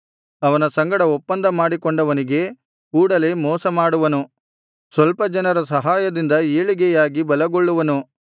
ಅವನ ಸಂಗಡ ಒಪ್ಪಂದ ಮಾಡಿಕೊಂಡವನಿಗೆ ಕೂಡಲೆ ಮೋಸ ಮಾಡುವನು ಸ್ವಲ್ಪ ಜನರ ಸಹಾಯದಿಂದ ಏಳಿಗೆಯಾಗಿ ಬಲಗೊಳ್ಳುವನು